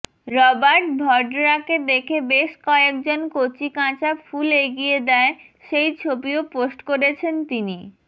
Robert ভডরাকে দেখে বেশ কয়েকজন কচিকাঁচা ফুল এগিয়ে দেয় সেই ছবিও পোস্ট করেছেন তিনি